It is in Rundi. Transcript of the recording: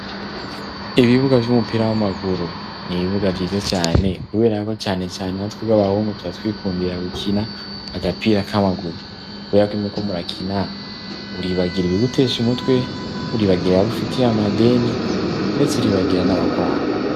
Ibibuga vy'umupira w'amaguru ni'ibibuga vyiza cane kuberako canecane na tweg'abahungu turatwikundirira gukina agapira k'amaguru, kubera koimeko muriakina uribagira ibigutesha imutwe uribagira abufitiye amadeni, ndetse ribagira n'abakwanga.